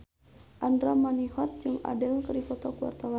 Andra Manihot jeung Adele keur dipoto ku wartawan